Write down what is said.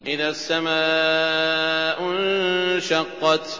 إِذَا السَّمَاءُ انشَقَّتْ